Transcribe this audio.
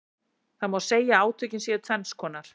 Það má segja að átökin séu tvenns konar.